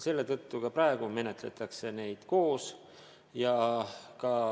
Selle tõttu ka praegu menetletakse neid koos.